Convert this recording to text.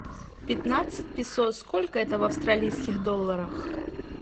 пятнадцать песо сколько это в австралийских долларах